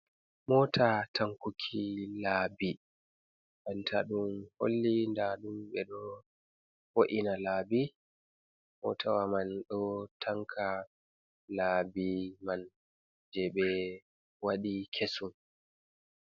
Mota tankuki laabi. Bantaɗun holli nɗaɗum be ɗo wo’ina laabi. Motawa man ɗo tanka laabi man je be waɗi kesum.